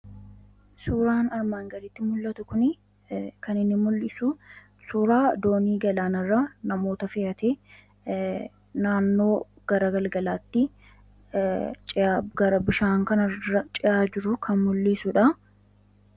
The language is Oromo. Suuraan armaan gadiitti mul'atu kuni kan inni mul'isu suuraa doonii galaanarraa namoota fe'atee naannoo gara galgalaatti ce'aa, gara bishaan kanarra ce'aa jiru kan mul'isudha.